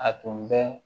A tun bɛ